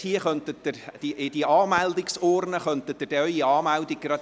Sie können Ihre Anmeldung in diese «Anmeldeurne» legen.